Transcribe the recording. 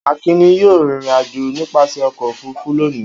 Akin ni yóò rìnrìn-àjò nípasẹ̀ ọkọ̀-òfurufú lónìí.